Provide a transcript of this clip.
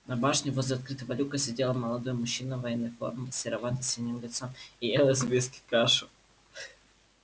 на башне возле открытого люка сидел молодой мужчина в военной форме с серовато-синим лицом и ел из миски кашу